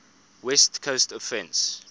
west coast offense